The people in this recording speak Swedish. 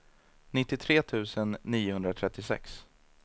nittiotre tusen niohundratrettiosex